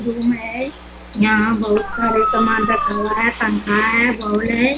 Room है यहाँ बहुत सारे सामान रखा हुआ है पंखा है बॉल है।